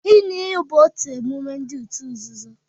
Ịṅụ iyi bụ otu emume ndi òtù nzuzo